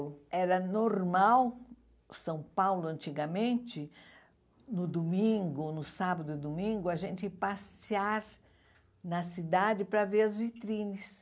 era normal, São Paulo, antigamente, no domingo, no sábado e domingo, a gente passear na cidade para ver as vitrines.